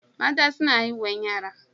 Mata suna haihuwan yara.